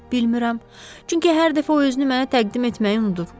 Bilmirəm, çünki hər dəfə o özünü mənə təqdim etməyi unudur.